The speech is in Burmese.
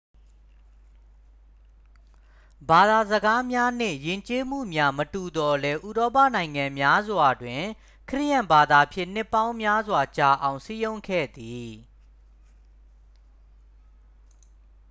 ဘာသာစကားများနှင့် ယဉ်ကျေးမှုများ မတူသော်လည်း ဥရောပနိုင်ငံများစွာတွင် ခရစ်ယာန်ဘာသာဖြင့် နှစ်ပေါင်းများစွာကြာအောင် စည်းရုံးခဲ့သည်